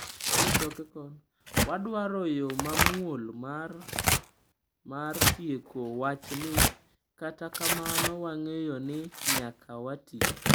Wadwaro yo mamuol mar mar tieko wachni, kata kamano wang'eyo ni nyaka wati."